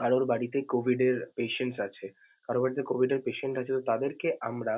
কারোর বাড়িতে COVID এর patience আছে. কারোর বাড়িতে COVID এর patience আছে তাদেরকে আমরা।